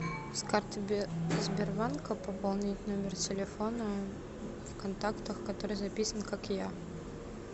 с карты сбербанка пополнить номер телефона в контактах который записан как я